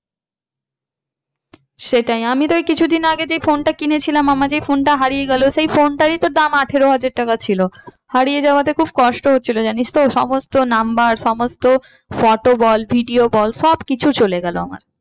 সেটাই, আমি তো এই কিছুদিন আগে যে phone টা কিনেছিলাম আমার যে phone টা হারিয়ে গেলো সেই phone টারই তো দাম আঠেরো হাজার টাকা ছিল। হারিয়ে যাওয়াতে খুব কষ্ট হচ্ছিলো জানিস তো সমস্ত number সমস্ত photo বল video বল সব কিছু চলে গেলো আমার।